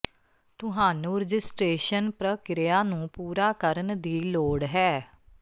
ਤੁਹਾਨੂੰ ਰਜਿਸਟ੍ਰੇਸ਼ਨ ਪ੍ਰਕਿਰਿਆ ਨੂੰ ਪੂਰਾ ਕਰਨ ਦੀ ਲੋੜ ਹੈ